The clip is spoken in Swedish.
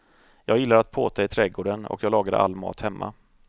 Jag gillar att påta i trädgården och jag lagar all mat hemma.